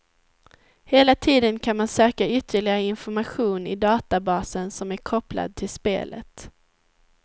Hela tiden kan man söka ytterligare information i databasen som är kopplad till spelet.